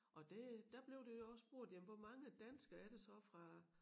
Og det der blev der også spurgt jamen hvor mange danskere er der så fra